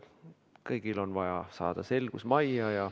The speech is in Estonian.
Kõigil on vaja saada selgus majja.